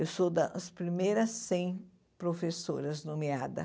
Eu sou das primeiras cem professoras nomeadas.